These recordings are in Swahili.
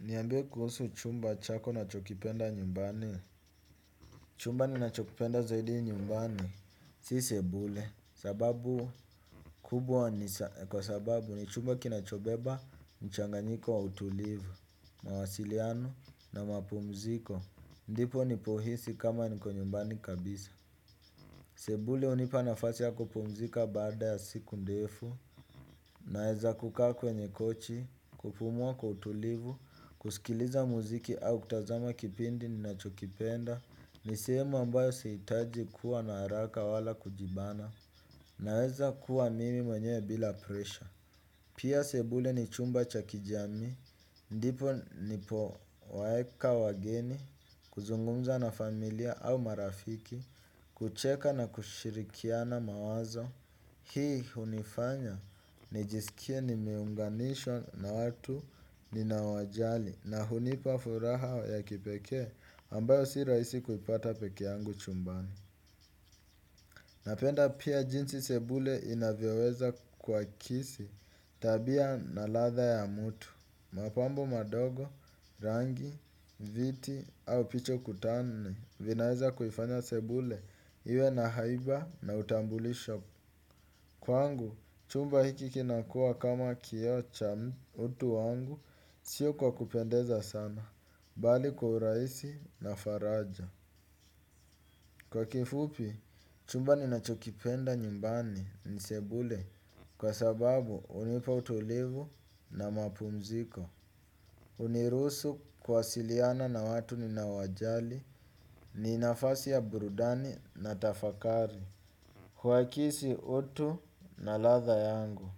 Niambie kuhusu chumba chako unachokipenda nyumbani. Chumba ninachokipenda zaidi nyumbani si sebule sababu kubwa ni kwa sababu ni chumba kinachobeba mchanganyiko wa utulivu mawasiliano na mapumziko. Ndipo nipohisi kama niko nyumbani kabisa. Sebule hunipa nafasi ya kupumzika baada ya siku ndefu. Naeza kukaa kwenye kochi kupumua kwa utulivu kusikiliza muziki au kutazama kipindi ninacho kipenda. Ni sehemu ambayo sitaki kuwa na hraka wala kujibana. Naweza kuwa mimi mwenyewe bila presha. Pia sebule ni chumba cha kijamii. Ndipo ndipo waeka wageni. Kuzungumza na familia au marafiki kucheka na kushirikiana mawazo hii hunifanya nijiskie nimeunganishwa na watu ninaowajali na hunipa furaha ya kipekee ambayo si rahisi kuipata peke yangu chumbani. Napenda pia jinsi sebule inavyoweza kuakisi tabia na ladha ya mtu mapambo madogo rangi viti au picha ukutani vinaweza kuifanya sebule iwe na haiba na utambulisho kwangu chumba hiki kinakua kama kioo cha utu wangu. Sio kwa kupendeza sana bali kwa urahisi na faraja. Kwa kifupi chumba ninachokipenda nyumbani ni sebule kwa sababu hunipa utulivu na mapumziko. Hunirusu kuwasiliana na watu ninao wajali ni nafasi ya burudani na tafakari. Hu akisi utu na ladha yangu.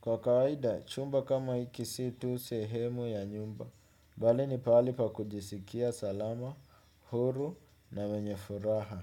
Kwa kawaida chumba kama hiki si tu sehemu ya nyumba bali ni pahali pa kujisikia salama huru na mwenye furaha.